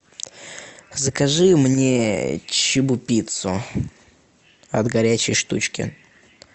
закажи мне чебупиццу от горячей штучки